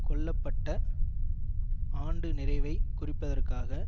கொல்ல பட்ட ஆண்டு நிறைவை குறிப்பதற்காக